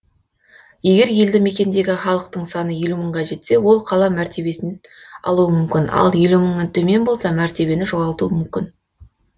егер елді мекендегі халық саны елу мыңға жетсе ол қала мәртебесін алуы мүмкін ал елу мыңнан төмен болса мәртебені жоғалтуы мүмкін